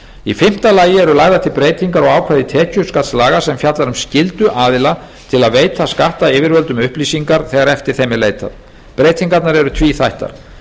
í fimmta lagi eru lagðar til breytingar á ákvæði tekjuskattslaga sem fjallar um skyldu aðila til að veita skattyfirvöldum upplýsingar þegar eftir þeim er leitað breytingarnar eru tvíþættar